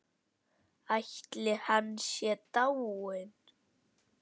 Ætli hann sé dáinn.